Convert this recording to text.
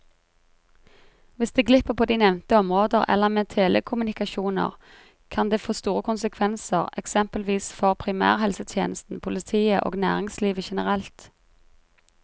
Hvis det glipper på de nevnte områder eller med telekommunikasjoner, kan det få store konsekvenser eksempelvis for primærhelsetjenesten, politiet og næringslivet generelt.